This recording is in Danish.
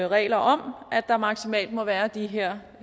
regler om at der maksimalt må være de her